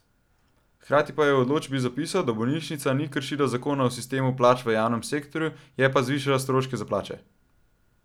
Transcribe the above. Hkrati pa je v odločbi zapisal, da bolnišnica ni kršila zakona o sistemu plač v javnem sektorju, je pa zvišala stroške za plače.